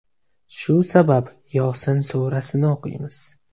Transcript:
Shu sabab Yosin surasini o‘qiymiz.